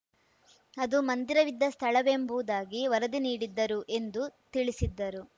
ಅದು ಮಂದಿರವಿದ್ದ ಸ್ಥಳವೆಂಬುದಾಗಿ ವರದಿ ನೀಡಿದ್ದರು ಎಂದು ತಿಳಿಸಿದ್ದರು